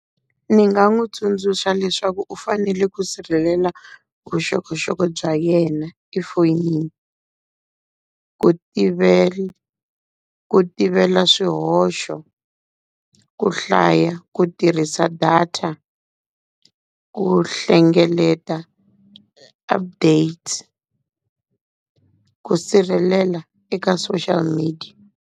Ni nga n'wi tsundzuxa leswaku u fanele ku sirhelela vuxokoxoko bya yena efoyinini, ku ku tivela swihoxo, ku hlaya, ku tirhisa data, ku hlengeleta update, ku sirhelela eka social media.